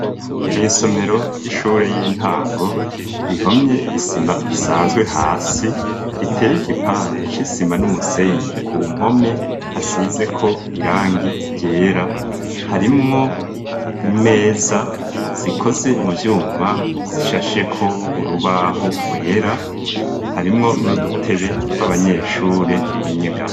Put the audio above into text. Mw' isomero ry'ishure y'intango rihomye isima isanzwe hasi, riteye igipande c'isima n'umusenyi. Ku mpome hasizeko irangi ryera, harimwo imeza zikoze mu vyuma zishasheko urubaho rwera. Harimwo n' udutebe tw'abanyeshure tw'inyegamo.